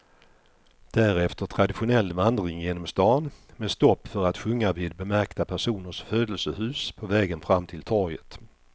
Därefter traditionell vandring genom stan med stopp för att sjunga vid bemärkta personers födelsehus på vägen fram till torget.